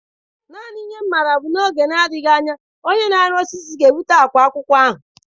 Naanị ihe m maara bụ na n'oge na-adịghị anya onye na-ọrụ nka osisi ga-ebubata akwa akwụkwọ ahụ.